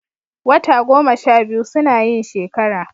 Wata goma sha biyu suna yin shekara